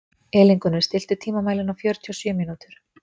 Elíngunnur, stilltu tímamælinn á fjörutíu og sjö mínútur.